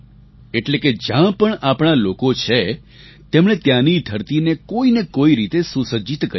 એટલે કે જ્યાં પણ આપણાં લોકો છે તેમણે ત્યાંની ધરતીને કોઈને કોઈ રીતે સુસજ્જિત કરી છે